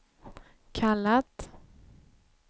kallat